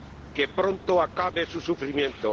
Que pronto acabe su sufrimiento.